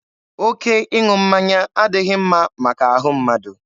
Oke ịṅụ mmanya adịghị mma maka ahụ mmadụ.